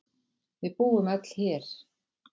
Við búum öll hér.